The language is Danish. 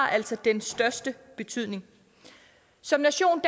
altså den største betydning som nation